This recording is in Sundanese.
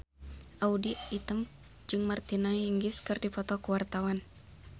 Audy Item jeung Martina Hingis keur dipoto ku wartawan